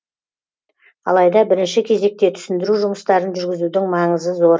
алайда бірінші кезекте түсіндіру жұмыстарын жүргізудің маңызы зор